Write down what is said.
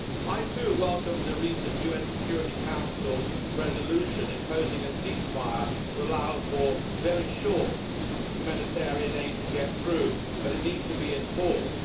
I too welcomed the recent UN Security Council resolution imposing a ceasefire to allow for very short humanitarian aid to get through, but it needs to be enforced.